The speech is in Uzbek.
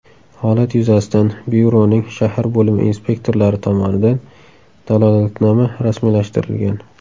Holat yuzasidan byuroning shahar bo‘limi inspektorlari tomonidan dalolatnoma rasmiylashtirilgan.